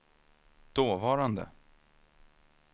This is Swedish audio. dåvarande